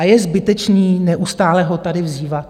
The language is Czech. A je zbytečné neustále ho tady vzývat.